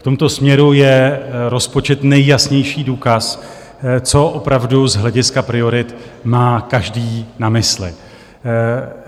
V tomto směru je rozpočet nejjasnější důkaz, co opravdu z hlediska priorit má každý na mysli.